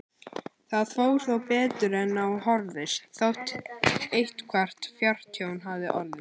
Það fór þó betur en á horfðist, þótt eitthvert fjártjón hafi orðið.